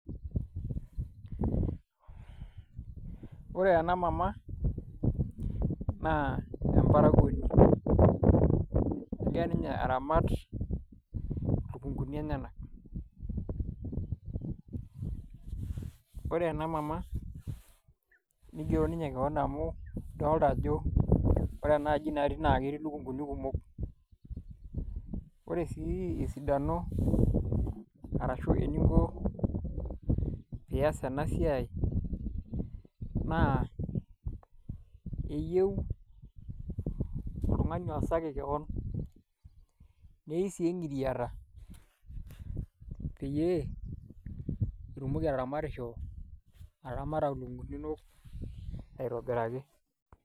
Wore ena mama, naa emparakuoni. Ekira ninye aramat ilukunguni enyanak. Wore ena mama, nigero ninye kewon amu idolta ajo wore enaaji natii naa ketii ilukunguni kumok. Wore sii esidano arashu eninko pee ias enasiai na keyieu ol2ngani oasaki kewon, neyiou sii engiriata peeyie, itumoki ataramatisho, ataramata ilukunguni inonok aitobiraki.